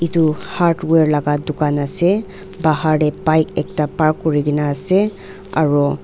etu hardware laga dukan ase bagar te bike ekta park kori kena ase.